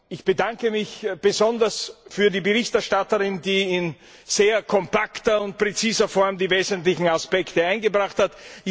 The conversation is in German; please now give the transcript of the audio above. Ich bedanke mich besonders bei der Berichterstatterin, die in sehr kompakter und präziser Form die wesentlichen Aspekte eingebracht hat.